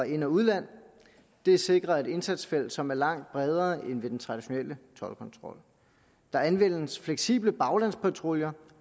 ind og udland det sikrer et indsatsfelt som er langt bredere end ved den traditionelle toldkontrol der anvendes fleksible baglandspatruljer